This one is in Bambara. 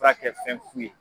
fura kɛ fɛn fu ye.